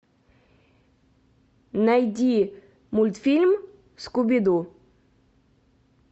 найди мультфильм скуби ду